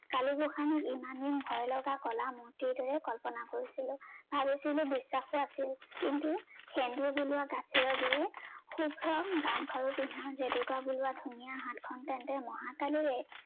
কালি গোসানী ইমানেই ভয় লগা কলা মুৰ্তি দৰেই কল্পনা কৰিছিলো। ভাবিছিলো বিশ্বাসটো আছিল কিন্তু সেন্দুৰ মিলোৱা গাখীৰৰ দৰে শুভ্ৰম গামখাৰু পিন্ধা, জেতুকা বোলোৱা ধুনীয়া হাতখন তেন্তে মহাকালিৰে